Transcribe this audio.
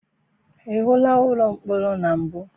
I hụla ụlọ mkpọrọ na mbụ?